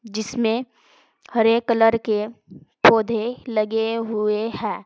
जिसमें हरे कलर के पौधे लगे हुए हैं।